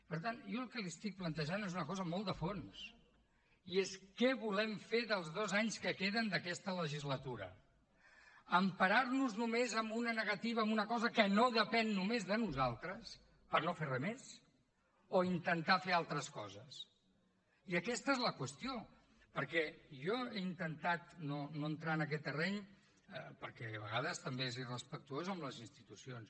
per tant jo el que li estic plantejant és una cosa molt de fons i és què volem fer dels dos anys que queden d’aquesta legislatura emparar nos només en una negativa en una cosa que no depèn només de nosaltres per no fer res més o intentar fer altres coses i aquesta és la qüestió perquè jo he intentat no entrar en aquest terreny perquè a vegades també és irrespectuós amb les institucions